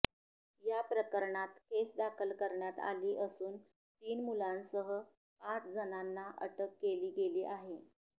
याप्रकरणात केस दाखल करण्यात आली असून तीन मुलांसह पाच जणांना अटक केली गेली आहे